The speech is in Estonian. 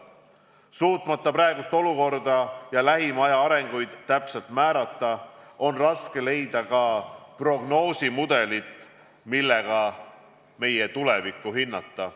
Suutmata praegust olukorda ja lähima aja arengusuundi täpselt määrata, on raske leida ka prognoosimudelit, millega meie tulevikku hinnata.